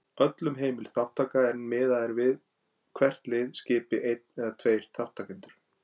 Öllum heimil þátttaka en miðað er við að hvert lið skipi einn eða tveir þátttakendur.